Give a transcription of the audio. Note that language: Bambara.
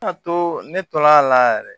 to ne tol'a la yɛrɛ